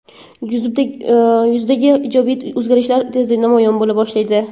Yuzdagi ijobiy o‘zgarishlar tezda namoyon bo‘la boshlaydi.